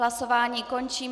Hlasování končím.